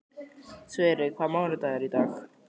Sverre, hvaða mánaðardagur er í dag?